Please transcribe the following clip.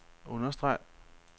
understreg